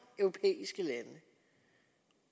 europæiske lande